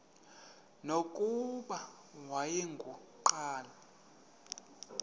nokuba wayengu nqal